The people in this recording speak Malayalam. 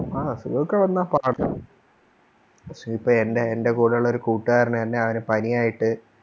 ആ അസുഗോക്കെ വന്ന പാട് പെടും പക്ഷെ ഇപ്പൊ എന്നെ എൻറെ കൂടെയുള്ളൊരു കൂട്ടുകാരന് എന്നെ അവന് പനിയായിട്ട്